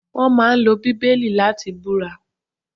Wón máa ń lo Bíbélì láti búra